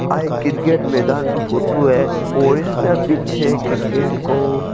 या एक क्रिकेट के मैदान की फोटो है पिच है क्रिकेट को --